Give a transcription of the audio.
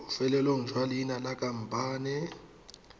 bofelong jwa leina la khamphane